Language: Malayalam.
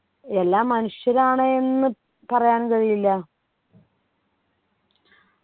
എല്ലാം മനുഷ്യരാണ് എന്ന് പറയാൻ കഴിയില്ല